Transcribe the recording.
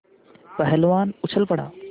पहलवान उछल पड़ा